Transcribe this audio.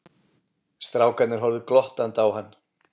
Strákarnir horfðu glottandi á hann.